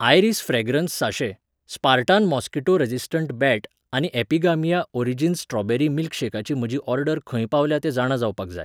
iris fragrance sachet, Spartan mosquito resistant bat आनी Epigamia origins strawberry मिल्कशेकाची म्हजी ऑर्डर खंय पावल्या तें जाणा जावपाक जाय